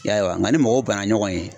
I ya ye wa? Nga ni mɔgɔw banna ɲɔgɔn ye.